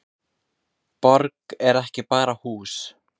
Borg er ekki bara hús.